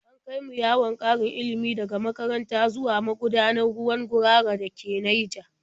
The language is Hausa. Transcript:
An kai mu yawon ƙarin ilimi daga makaranta zuwa magudanar ruwan Gurara da ke Naija.